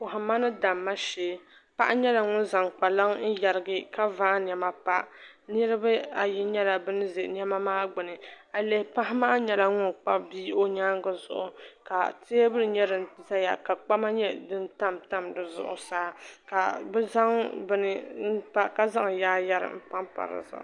Kɔhimma ni damma shɛɛ paɣa nyɛla ŋun zaŋ kpaŋa n yɛrigi ka vaa nɛma pa niriba ayi nyɛla bini zɛ nɛma maa gbuni ayi lihi paɣa maa nyɛla ŋuni Kpabi bia o yɛanga zuɣu ka tɛɛbuli nyɛ din zaya ka kpama nyɛ dini tamtam di zuɣu ka bi zaŋ bini mpa ka zaŋ yaayɛri mpa pa di zuɣu.